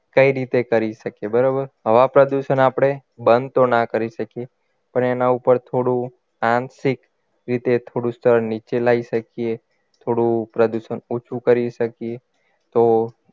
કઈ રીતે કરી શકીએ બરાબર હવા પ્રદુષણ આપણે બંધ તો ના કરી શકીએ પણ એના ઉપર થોડું આંશિક રીતે થોડું સ્તર નીચે લાવી શકીએ થોડું પ્રદૂષણ ઓછું કરી શકીએ તો